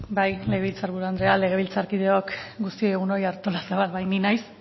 bai legebiltzar buru andrea legebiltzarkideok guztioi egun on artolazabal bai ni naiz